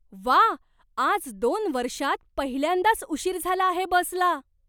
व्वा, आज दोन वर्षांत पहिल्यांदाच उशीर झाला आहे बसला.